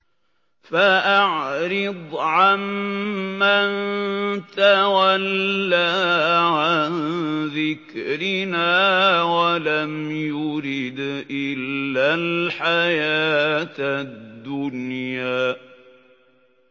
فَأَعْرِضْ عَن مَّن تَوَلَّىٰ عَن ذِكْرِنَا وَلَمْ يُرِدْ إِلَّا الْحَيَاةَ الدُّنْيَا